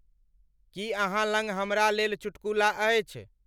की अहाँलंग हमरा लेल चुटकुला अछि